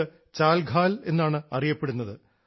ഇത് ചാൽഖാൽ എന്നാണ് അറിയപ്പെടുന്നത്